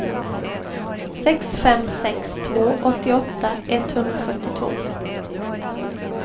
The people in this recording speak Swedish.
sex fem sex två åttioåtta etthundrafyrtiotvå